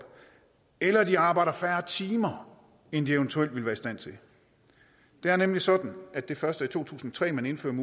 eller de arbejder færre timer inden de eventuelt ville være i stand til det er nemlig sådan at det først var i to tusind og tre man indførte